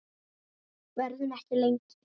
Verðum ekki lengi.